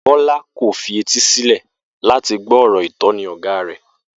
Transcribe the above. Bó̩lá kò fetísílè̩ láti gbó̩ ò̩rò̩ ìtó̩ni ò̩gá rè